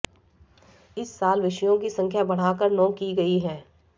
इस साल विषयों की संख्या बढ़ाकर नौ की गई है